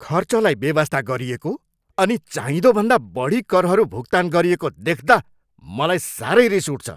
खर्चलाई बेवास्ता गरिएको अनि चाहिँदोभन्दा बढी करहरू भुक्तान गरिएको देख्दा मलाई सारै रिस उठ्छ।